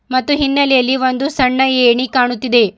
ಮತ್ತು ಹಿನ್ನೆಲೆಯಲ್ಲಿ ಒಂದು ಸಣ್ಣ ಏಣಿ ಕಾಣುತ್ತಿದೆ.